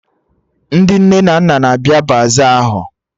Ndị nne na nna na-abịa baza ahụ